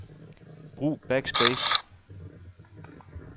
Brug backspace.